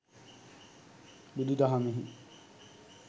බුදුදහමෙහි